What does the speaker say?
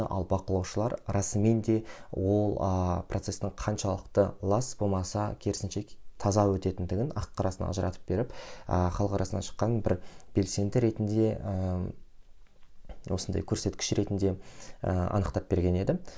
ал бақылаушылар расымен де ол ы процестің қаншалықты лас болмаса керісінше таза өтетіндігін ақ қарасын ажыратып беріп ыыы халық арасынан шыққан бір белсенді ретінде ыыы осындай көрсеткіш ретінде ыыы анықтап берген еді